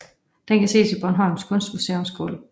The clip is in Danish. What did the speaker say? Den kan ses i Bornholms Kunstmuseums gulv